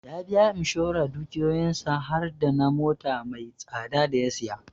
Ya biya Imshoran dukiyoyin sa har dana mota mai tsada da ya saya